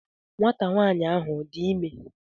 Nwanta nwanyi ahu Ọ dị ime?